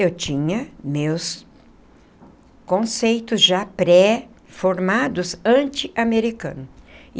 Eu tinha meus conceitos já pré-formados antiamericano.